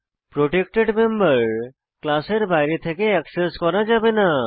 protected member ক্লাসের বাইরে থেকে অ্যাক্সেস করা যাবে না